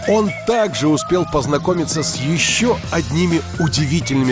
он также успел познакомиться с ещё одними удивительными